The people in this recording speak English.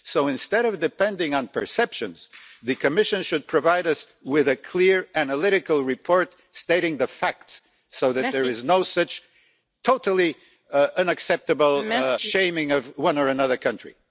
So, instead of depending on perceptions, the Commission should provide us with a clear, analytical report stating the facts, so that there is no such totally unacceptable shaming of one or another country.